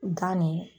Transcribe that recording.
Gan ni